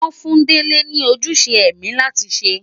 Wọ́n fún Dele ní ojúṣe ẹ̀mí láti ṣe.